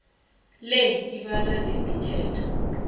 le ibala nemithetho